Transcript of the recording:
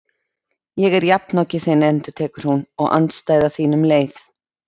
Ég er jafnoki þinn endurtekur hún, og andstæða þín um leið.